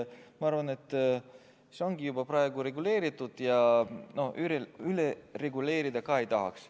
Ma arvan, et see on juba praegu reguleeritud ja üle reguleerida ka ei tahaks.